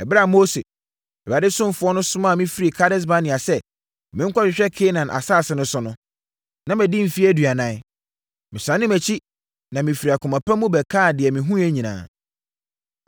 Ɛberɛ a Mose, Awurade ɔsomfoɔ no somaa me firi Kades-Barnea sɛ menkɔhwehwɛ Kanaan asase no so no, na madi mfeɛ aduanan. Mesane mʼakyi na mefiri akoma pa mu bɛkaa deɛ mehunuiɛ nyinaa,